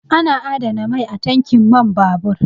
Ana adana mai a tankin man babur